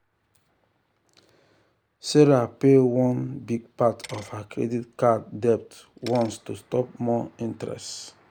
sarah pay one big part of her credit card debt once to stop more interest.